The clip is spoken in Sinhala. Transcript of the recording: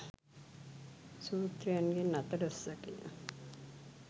සූත්‍රයන්ගෙන් අතලොස්සකි.